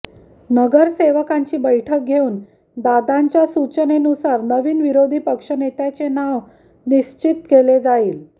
नगरसेवकांची बैठक घेऊन दादांच्या सूचनेनुसार नवीन विरोधी पक्षनेत्याचे नाव निश्चित केले जाईल